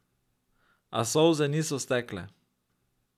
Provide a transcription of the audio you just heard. A solze niso stekle.